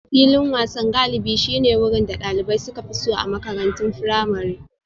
Filin wasan galibi shine wurin da dalibai suka fi so a makarantun firamare.